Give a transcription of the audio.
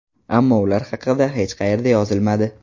Ammo ular haqida hech qayerda yozilmadi.